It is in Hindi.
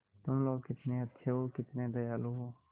तुम लोग कितने अच्छे हो कितने दयालु हो